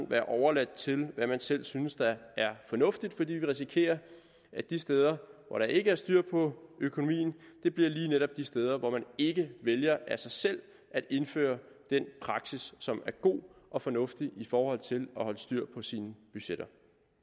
være overladt til hvad man selv synes er fornuftigt fordi vi risikerer at de steder hvor der ikke er styr på økonomien lige netop bliver de steder hvor man ikke vælger af sig selv at indføre den praksis som er god og fornuftig i forhold til at holde styr på sine budgetter